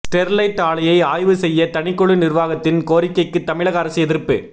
Sterlite ஆலையை ஆய்வு செய்ய தனிக்குழு நிர்வாகத்தின் கோரிக்கைக்கு தமிழக அரசு எதிர்ப்பு